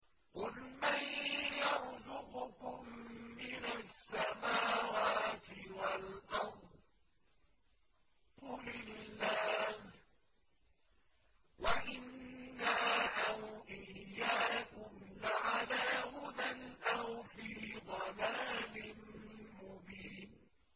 ۞ قُلْ مَن يَرْزُقُكُم مِّنَ السَّمَاوَاتِ وَالْأَرْضِ ۖ قُلِ اللَّهُ ۖ وَإِنَّا أَوْ إِيَّاكُمْ لَعَلَىٰ هُدًى أَوْ فِي ضَلَالٍ مُّبِينٍ